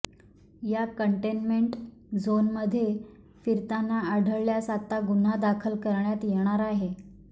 या कंटेनमेंट झोनमध्ये फिरताना आढळल्यास आता गुन्हा दाखल करण्यात येणार आहे